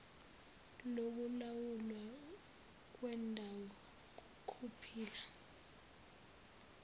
lokulawulwa kwendawo yokuphila